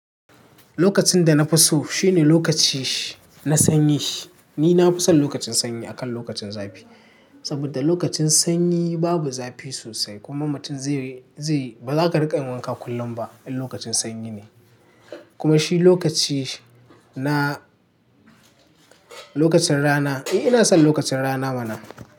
Lokacin da na fi so shine lokaci na sanyi. Ni na fi son lokacin sanyi akan lokacin zafi. Saboda lokacin sanyi babu zafi sosai kuma mutum zai, zai, ba za ka rika yin wanka kullum ba in lokacin sanyi ne. Kuma shi lokaci na, lokacin rana. Eh ina son lokacin rana mana.